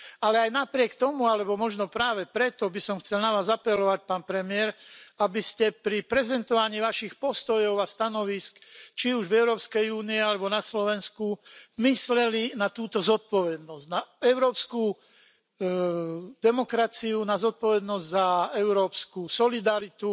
Ale napriek tomu alebo možno práve preto by som chcel na Vás apelovať, pán premiér, aby ste pri prezentovaní svojich postojov a stanovísk či už v Európskej únii, alebo na Slovensku mysleli na túto zodpovednosť, na európsku demokraciu, na zodpovednosť za európsku solidaritu